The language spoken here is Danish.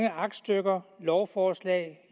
af aktstykker lovforslag